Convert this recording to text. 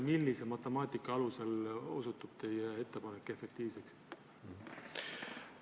Millise matemaatika alusel osutub teie ettepanek efektiivseks?